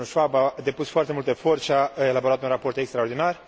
Domnul Schwab a depus foarte mult efort și a elaborat un raport extraordinar.